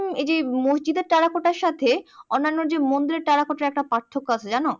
এই যে মসজিদের টেরাকোটার সাথে অন্যান্য যে মন্দিরের টেরাকোটার একটা পার্থক্য আছে জানো?